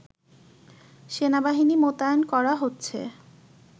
সেনাবাহিনী মোতায়েন করা হচ্ছে